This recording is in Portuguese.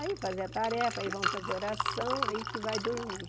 Aí fazer a tarefa, aí vamos fazer oração, aí que vai dormir.